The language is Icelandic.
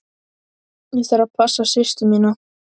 Ég þarf að passa systur mína.